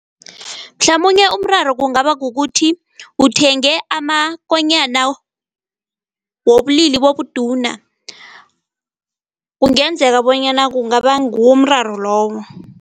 Mhlamunye umraro kungaba kukuthi uthenge amakonyana wobulili bobuduna. Kungenzeka bonyana kungaba ngiwo umraro loyo.